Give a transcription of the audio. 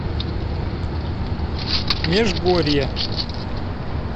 межгорье